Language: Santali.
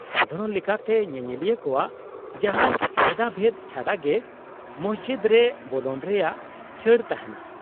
-ᱥᱟᱫᱷᱟᱨᱚᱱ ᱞᱮᱠᱟᱛᱮ ᱧᱮᱧᱮᱞᱤᱭᱟᱹ ᱠᱚᱣᱟᱜ ᱡᱟᱦᱟᱱ ᱵᱷᱮᱫᱟᱵᱷᱮᱫ ᱪᱷᱟᱰᱟ ᱜᱮ ᱢᱚᱥᱡᱤᱫ ᱨᱮ ᱵᱚᱞᱚᱱ ᱨᱮᱭᱟᱜ ᱪᱷᱟᱹᱲ ᱛᱟᱦᱮᱱᱟ ᱾